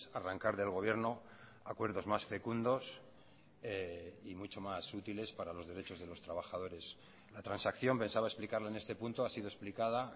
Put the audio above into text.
arrancar del gobierno acuerdos más fecundos y mucho mas útiles para los derechos de los trabajadores la transacción pensaba explicarlo en este punto ha sido explicada